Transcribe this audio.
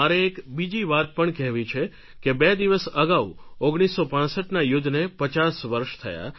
મારે એક બીજી પણ વાત કહેવી છે કે બે દિવસ અગાઉ 1965ના યુદ્ધને પચાસ વર્ષ થયા